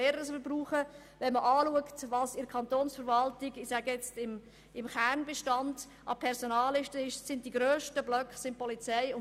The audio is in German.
Die grössten Personalbestände im Kanton Bern befinden sich bei der Polizei sowie bei den Lehrpersonen.